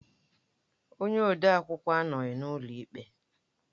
Onye ode akwụkwọ anọghị n'ụlọ ikpe